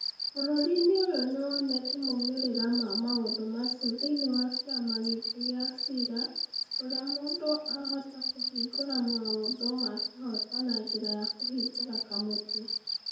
Bũrũri-inĩ ũyũ nĩ wonete moimĩrĩro ma maũndũ macio thĩinĩ wa kĩama gitũ gĩa cira, kũrĩa mũndũ ahota kũhingĩrio maũndũ ma kĩhooto na njĩra ya kũhingũra kamũtĩ.